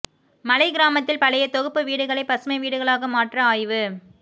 மலைக் கிராமத்தில் பழைய தொகுப்பு வீடுகளை பசுமை வீடுகளாக மாற்ற ஆய்வு